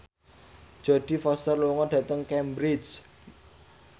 Jodie Foster lunga dhateng Cambridge